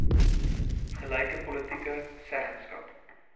gelyke politieke seggenskap